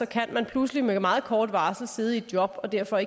kan man pludselig med meget kort varsel sidde i et job og derfor